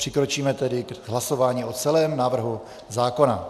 Přikročíme tedy k hlasování o celém návrhu zákona.